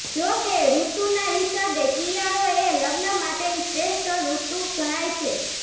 જોકે ઋતુના હિસાબે શિયાળો એ લગ્ન માટેની શ્રેષ્ઠ ઋતુ ગણાય છે